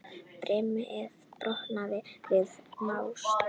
Brimið brotnar við naust.